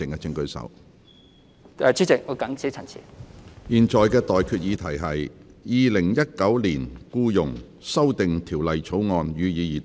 我現在向各位提出的待決議題是：《2019年僱傭條例草案》，予以二讀。